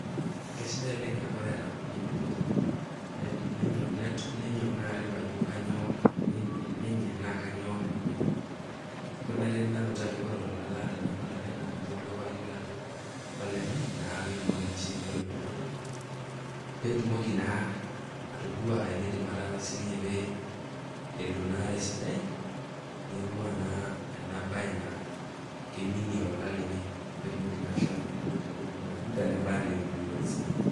Kesidai oleng a ore eata pooki ng'ai eneloito, nenyok naa arip ajo kenyoo nenyenak naa kanyoo enemenenye, ore naa tene nainoto ajo ore olola laata nemeolalai naa kanyor duo paayiolou ajo koleng'ai naa petumoki naa sininye olopeny anoto petumoki naa atodua enaidim ataasa sininye pelo naa tesidai neing'ua na ena bae naa keiminie olola lenye petumoki naa ashomo neinot entoki nayeuta nebaya teseriani.